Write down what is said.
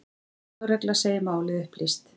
Lögregla segir málið upplýst.